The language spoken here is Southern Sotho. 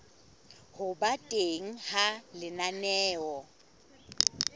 ho ba teng ha lenaneo